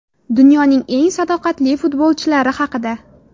Dunyoning eng sadoqatli futbolchilari haqida.